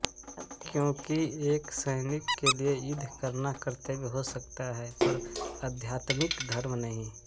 क्योंकि एक सैनिक के लिये युद्ध करना कर्तव्य हो सकता है पर आध्यात्मिक धर्म नहीं